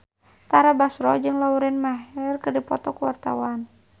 Tara Basro jeung Lauren Maher keur dipoto ku wartawan